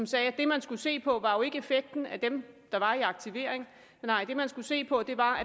sagde at det man skulle se på ikke var effekten af dem der var i aktivering nej det man skulle se på var